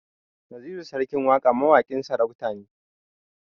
Naziru sarkin waƙa mawaƙin sarauta ne